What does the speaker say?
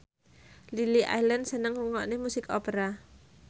Lily Allen seneng ngrungokne musik opera